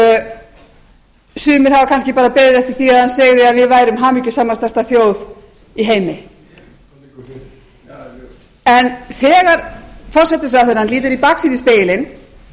og sumir hafa kannski bara beðið eftir því að hann segði að við værum hamingjusamasta þjóð í heimi en þegar forsætisráðherrann lítur í baksýnisspegilinn